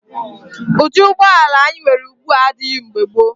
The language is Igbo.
Ụdị ụgbọala anyị nwere ugbu a adịghị mgbe gboo.